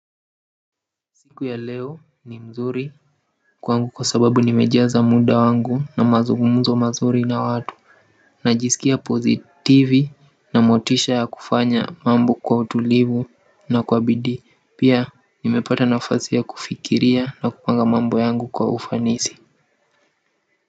Siku ya leo ni mzuri kwangu kwa sababu nimejaza muda wangu na mazungumzo mazuri na watu najisikia pozitivi na motisha ya kufanya mambo kwa utulivu na kwa bidii pia nimepata nafasi ya kufikiria na kupanga mambo yangu kwa ufanisi.